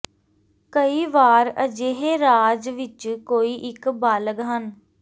ਕਈ ਵਾਰ ਅਜਿਹੇ ਰਾਜ ਵਿਚ ਕੋਈ ਇੱਕ ਬਾਲਗ ਹਨ